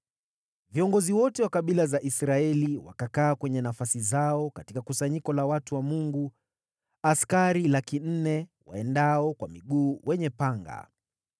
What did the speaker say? Viongozi wote wa kabila za Israeli wakakaa kwenye nafasi zao katika kusanyiko la watu wa Mungu, askari 400,000 waendao kwa miguu wenye panga.